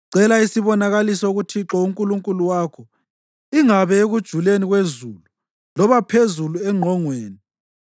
“Cela isibonakaliso kuThixo uNkulunkulu wakho, ingabe ekujuleni kwezulu loba phezulu engqongweni.”